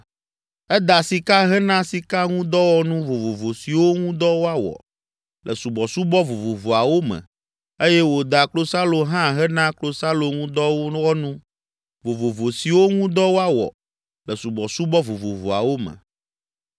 Eda sika hena sikaŋudɔwɔnu vovovo siwo ŋu dɔ woawɔ le subɔsubɔ vovovoawo me eye wòda klosalo hã hena klosaloŋudɔwɔnu vovovo siwo ŋu dɔ woawɔ le subɔsubɔ vovovoawo me.